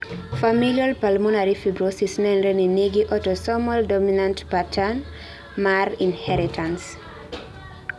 Familial pulmonary fibrosis nenre ni nigi autosomal dominant patternmar inheritance